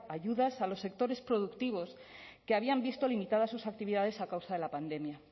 ayudas a los sectores productivos que habían visto limitadas sus actividades a causa de la pandemia